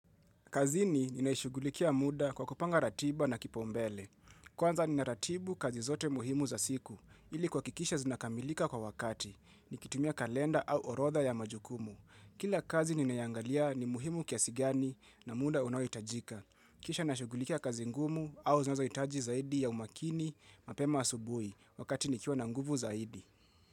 Kazini ninaishughulikia muda kwa kupanga ratiba na kipaumbele. Kwanza nina ratibu kazi zote muhimu za siku, ili kuhakikisha zinakamilika kwa wakati. Nikitumia kalenda au orodha ya majukumu. Kila kazi ninayoangalia ni muhimu kiasi gani na muda unaohitajika. Kisha nashughulikia kazi ngumu au zinazohitaji zaidi ya umakini mapema asubuhi wakati nikiwa na nguvu zaidi.